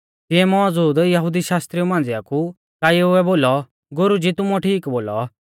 तिऐ मौज़ूद यहुदी शास्त्रिउ मांझ़िया कु काइएउऐ बोलौ गुरुजी तुमुऐ ठीक बोलौ